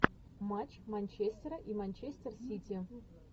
матч манчестера и манчестер сити